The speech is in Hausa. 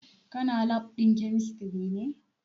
Kuna lab ɗin kemistri ne?